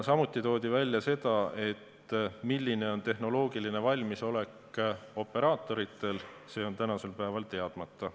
Samuti toodi välja, et see, milline on operaatorite tehnoloogiline valmisolek, on tänasel päeval teadmata.